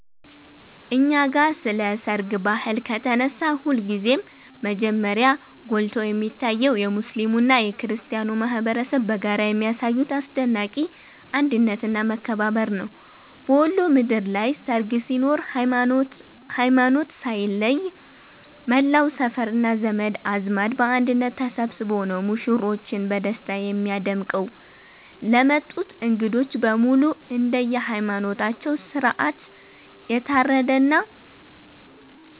እኛ ጋ ስለ ሰርግ ባህል ከተነሳ ሁልጊዜም መጀመሪያ ጎልቶ የሚታየው የሙስሊሙና የክርስቲያኑ ማኅበረሰብ በጋራ የሚያሳዩት አስደናቂ አንድነትና መከባበር ነው። በወሎ ምድር ላይ ሰርግ ሲኖር ሃይማኖት ሳይለይ መላው ሰፈርና ዘመድ አዝማድ በአንድነት ተሰብስቦ ነው ሙሽሮችን በደስታ የሚያደምቀው። ለሚመጡት እንግዶች በሙሉ እንደየሃይማኖታቸው ሥርዓት የታረደና